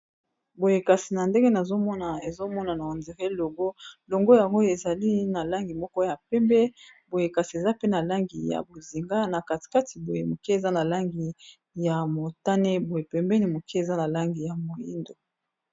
boyekasi na ndenge naomna ezomona na andiré longo longo yangoyo ezali na langi moko ya pembe boyekasi eza pe na langi ya bozinga na katikati boye moke eza na langi ya motane boye pembeni moke eza na langi ya moindo